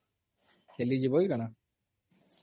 ଖେଲି ଯିବ କି କାଣା ?